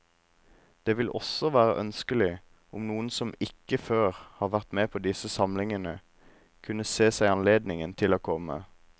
Det ville også være ønskelig om noen som ikke før har vært med på disse samlingene, kunne se seg anledning til å komme.